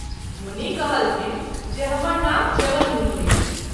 मुनि कहलथिन्ह जे हमर नाम च्यवन मुनि अछि।